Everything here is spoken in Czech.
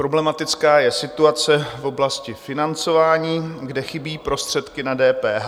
Problematická je situace v oblasti financování, kde chybí prostředky na DPH.